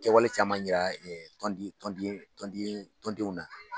Kɛwale caman jira tɔndenw na